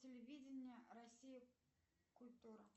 телевидение россия культура